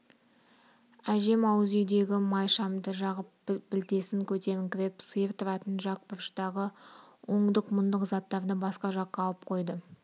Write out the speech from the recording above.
әжем ауыз үйдегі май шамды жағып білтесін көтеріңкіреп сиыр тұратын жақ бұрыштағы ондық-мұндық заттарды басқа жаққа алып қойды